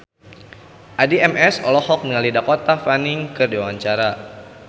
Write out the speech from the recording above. Addie MS olohok ningali Dakota Fanning keur diwawancara